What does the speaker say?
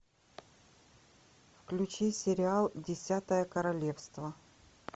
включи сериал десятое королевство